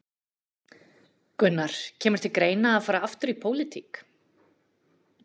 Gunnar: Kemur til greina að fara aftur í pólitík?